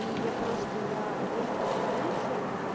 и я просто я одежду так или иначе